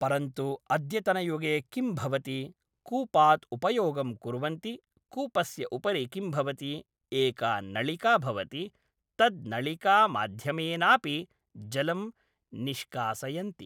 परन्तु अद्यतनयुगे किं भवति कूपात् उपयोगं कुर्वन्ति कूपस्य उपरि किं भवति एका नळिका भवति तद् नळिकामाध्यमेनापि जलं निष्कासयन्ति